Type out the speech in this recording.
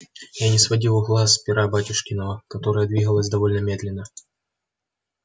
я не сводил глаз с пера батюшкина которое двигалось довольно медленно